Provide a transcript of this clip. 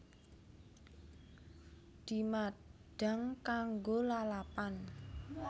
Dimadhang kanggo lalapan